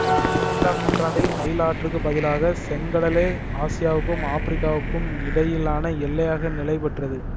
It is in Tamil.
பதினைந்தாம் நூற்றாண்டில் நைல் ஆற்றுக்குப் பதிலாக செங்கடலே ஆசியாவுக்கும் ஆப்பிரிக்காவுக்கும் இடையிலான எல்லையாக நிலைபெற்றது